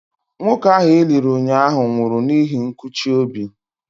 Nwoke ahụ e liri ụnyaahụ nwụrụ n'ihi nkụchi obi.